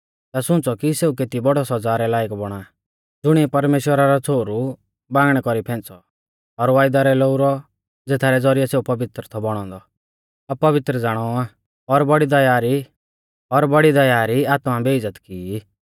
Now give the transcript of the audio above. ता सुंच़ौ कि सेऊ केती बौड़ी सौज़ा रै लायक बौणा ज़ुणिऐ परमेश्‍वरा रौ छ़ोहरु बांगणै कौरी फेंच़ौ और वायदा रै लोऊ रौ ज़ेथारै ज़ौरिऐ सेऊ पवित्र थौ बौणौ औन्दौ अपवित्र ज़ाणौ आ और बौड़ी दया री आत्मा बेइज़्ज़त की ई